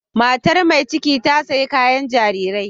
Matar mai ciki ta sayi kayar jarirai.